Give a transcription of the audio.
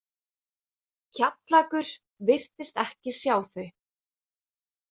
Kjallakur virtist ekki sjá þau.